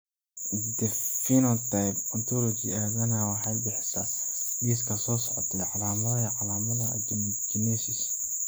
The Phenotype Ontology aadanaha waxay bixisaa liiska soo socda ee calaamadaha iyo calaamadaha Achondrogenesis.